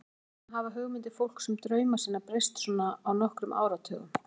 Hvers vegna hafa hugmyndir fólks um drauma sína breyst svona á nokkrum áratugum?